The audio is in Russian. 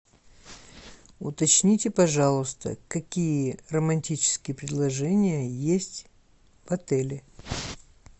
уточните пожалуйста какие романтические предложения есть в отеле